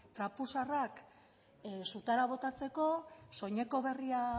trapu zaharrak sutara botatzeko soineko berria